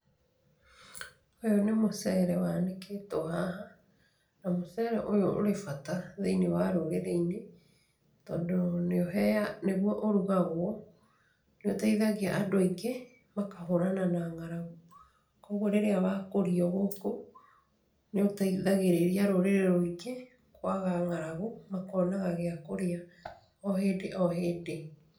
Ũyũ nĩ mũcere wanĩkĩtwo haha. Na mũcere ũyũ ũrĩ bata thĩinĩ wa rũrĩrĩinĩ tondũ nĩguo ũrugagwo, nĩũteithagia andũ aingĩ makahũrana na ng'aragu. Koguo rĩrĩa wakũrio gũkũ nĩũteithagĩrĩria rũrĩrĩ rũingĩ kwaga ng'aragu makonaga gia kũrĩa o hĩndĩ o hĩndĩ.